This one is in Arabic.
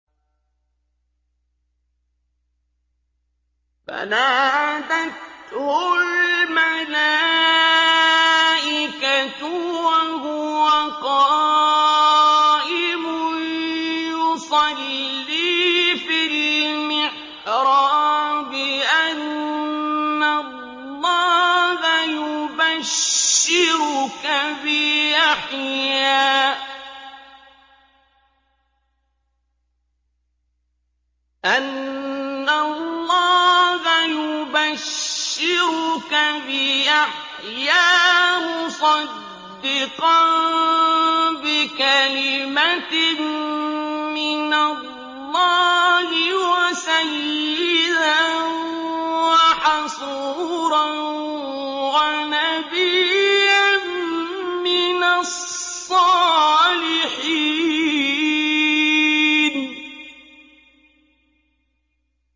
فَنَادَتْهُ الْمَلَائِكَةُ وَهُوَ قَائِمٌ يُصَلِّي فِي الْمِحْرَابِ أَنَّ اللَّهَ يُبَشِّرُكَ بِيَحْيَىٰ مُصَدِّقًا بِكَلِمَةٍ مِّنَ اللَّهِ وَسَيِّدًا وَحَصُورًا وَنَبِيًّا مِّنَ الصَّالِحِينَ